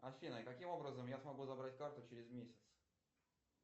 афина каким образом я смогу забрать карту через месяц